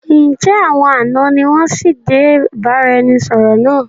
Ǹ jẹ́ àwọn àná ni wọn sì dé ìbáraẹnisọọ̀rọ̀ náà?